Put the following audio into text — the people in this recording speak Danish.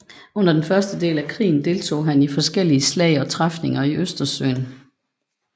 Under den første del af krigen deltog han i forskellige slag og træfninger i Østersøen